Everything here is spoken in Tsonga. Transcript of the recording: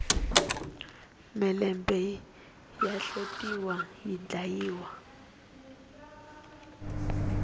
mhelembe ya hlotiwa yi dlayiwa